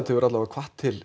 hefur alla vega hvatt til